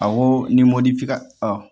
Awɔ ni mɔdfika